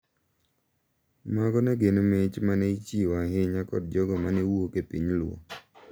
Mago ne gi mich ma ne ichiwo ahinya kod jogo ma ne wuok e piny luo.